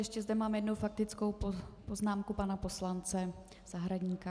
Ještě zde mám jednu faktickou poznámku pana poslance Zahradníka.